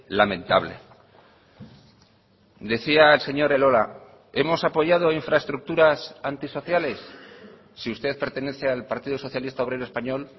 lamentable decía el señor elola hemos apoyado infraestructuras antisociales si usted pertenece al partido socialista obrero español